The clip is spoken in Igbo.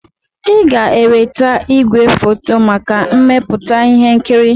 Ị ga-eweta igwefoto maka mmepụta ihe nkiri!